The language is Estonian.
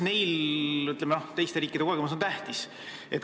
Teiste riikide kogemused on tähtsad.